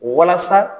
Walasa